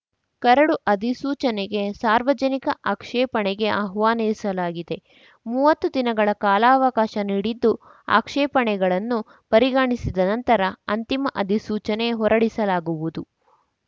curd ಅಧಿಸೂಚನೆಗೆ ಸಾರ್ವಜನಿಕ ಆಕ್ಷೇಪಣೆಗೆ ಆಹ್ವಾನಿಸಲಾಗಿದೆ ಮೂವತ್ತು ದಿನಗಳ ಕಾಲಾವಕಾಶ ನೀಡಿದ್ದು ಆಕ್ಷೇಪಣೆಗಳನ್ನು ಪರಿಗಣಿಸಿದ ನಂತರ ಅಂತಿಮ ಅಧಿಸೂಚನೆ ಹೊರಡಿಸಲಾಗುವುದು